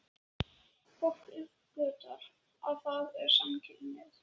Fólk uppgötvar að það er samkynhneigt.